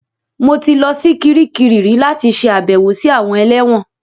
Mo ti lọ sí Kiríkirì rí láti ṣe àbẹ̀wò sí àwọn ẹlẹ́wọ̀n